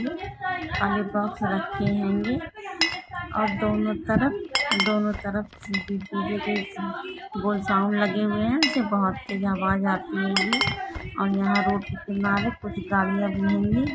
सारे बोक्स रखे हे ओर दोनों तरफ दोनों तरफ साउंड लगे हुए हे इसे बहुत आवाज आती होगी ओर यहा पे रोड पे कुछ गाड़िया भी लगी हे।